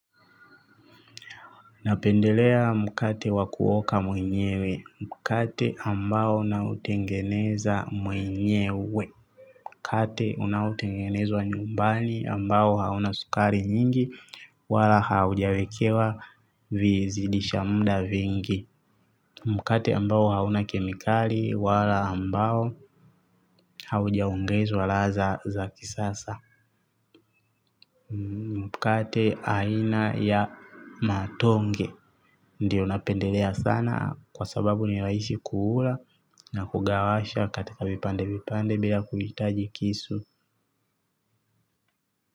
Napendelea mkate wa kuoka mwenyewe. Mkate ambao nautengeneza mwenyewe. Mkate unaotengenezwa nyumbani ambao hauna sukari nyingi wala haujawekewa vizidisha mda vingi. Mkate ambao hauna kemikali wala ambao haujaongezwa ladha za kisasa. Mkate aina ya matonge. Ndiyo napendelea sana kwa sababu ni rahisi kuula na kugawasha katika vipande vipande bila kuhitaji kisu.